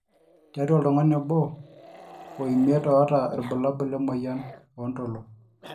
tiatua oltungani obo oo imiet oota irbulabul le moyian oo ndolo